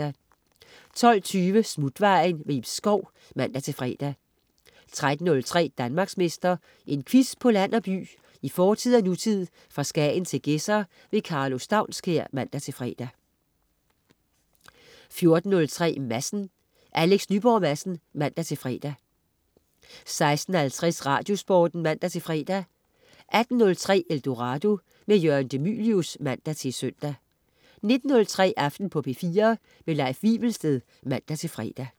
12.20 Smutvejen. Ib Schou (man-fre) 13.03 Danmarksmester. En quiz på land og by, i fortid og nutid, fra Skagen til Gedser. Karlo Staunskær (man-fre) 14.03 Madsen. Alex Nyborg Madsen (man-fre) 16.50 Radiosporten (man-fre) 18.03 Eldorado. Jørgen de Mylius (man-søn) 19.03 Aften på P4. Leif Wivelsted (man-fre)